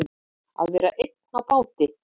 Að vera einn á báti